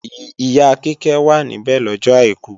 Ìyá Kíkẹ́ wà níbẹ̀ lọ́jọ àìkú